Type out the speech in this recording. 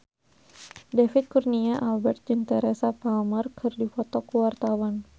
David Kurnia Albert jeung Teresa Palmer keur dipoto ku wartawan